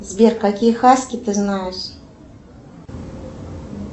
сбер какие хаски ты знаешь